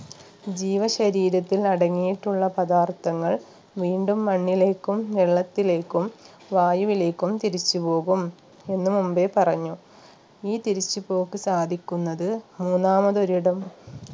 ജീവശരീരത്തിൽ അടങ്ങിയിട്ടുള്ള പദാർത്ഥങ്ങൾ വീണ്ടും മണ്ണിലേക്കും വെള്ളത്തിലേക്കും വായുവിലേക്കും തിരിച്ചുപോകും എന്ന് മുമ്പേ പറഞ്ഞു ഈ തിരിച്ചുപോക്ക് സാധിക്കുന്നത് മൂന്നാമത് ഒരിടം